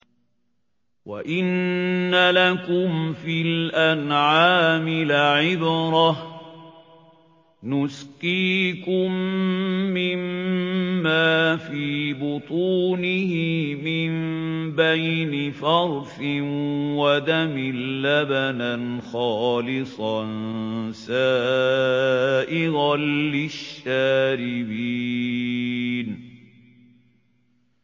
وَإِنَّ لَكُمْ فِي الْأَنْعَامِ لَعِبْرَةً ۖ نُّسْقِيكُم مِّمَّا فِي بُطُونِهِ مِن بَيْنِ فَرْثٍ وَدَمٍ لَّبَنًا خَالِصًا سَائِغًا لِّلشَّارِبِينَ